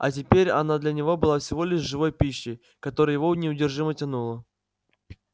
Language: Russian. а теперь она для него была всего лишь живой пищей к которой его неудержимо тянуло